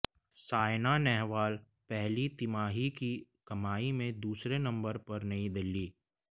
सायना नेहवाल पहली तिमाही की कमाई में दूसरे नंबर पर नई दिल्ली